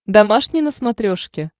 домашний на смотрешке